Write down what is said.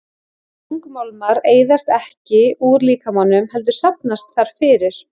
Þungmálmar eyðast ekki úr líkamanum heldur safnast þar fyrir.